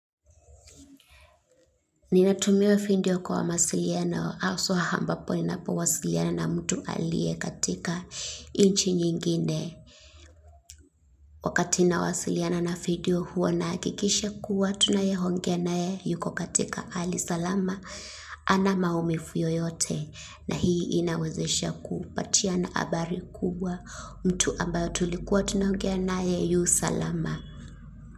Ninatumia video kwa mawasiliano, haswa ambapo ninapowasiliana na mtu alie katika inchi nyingine. Wakati nawasialana na video huwa nahakikisha kuwa tunayeongea naye yuko katika hali salama hana maumivu yoyote. Na hii inawezesha kupatiana habari kubwa mtu ambayo tulikuwa tunaongea naye yu salama.